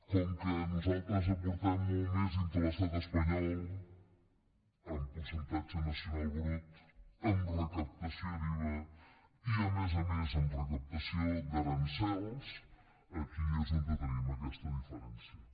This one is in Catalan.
com que nosaltres aportem molt més dintre de l’estat espanyol en percentatge nacional brut en recaptació d’iva i a més a més en recaptació d’aranzels aquí és on tenim aquesta diferència